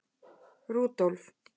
Rúdólf